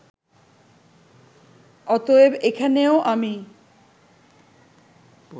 অতএব এখানেও আমি